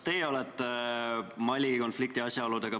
Palun võtta seisukoht ja hääletada!